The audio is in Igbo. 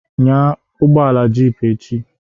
Nya ugbọala jeep echi